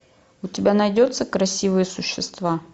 у тебя найдется красивые существа